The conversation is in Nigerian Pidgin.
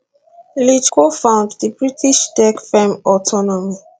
lynch cofound di british tech firm autonomy